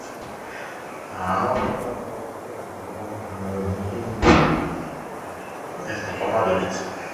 можно узнать у вас в отеле про дополнительное размещение если понадобится